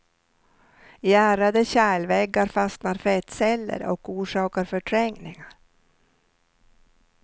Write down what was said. I ärrade kärlväggar fastnar fettceller och orsakar förträngningar.